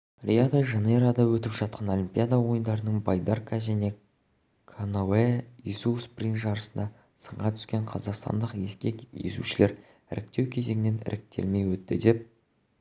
рио-де-жанейрода өтіп жатқан олимпиада ойындарының байдарка және каноэ есу спринт жарысында сынға түскен қазақстандық ескек есушілер іріктеу кезеңінен іркілмей өтті деп